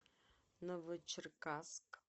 новочеркасск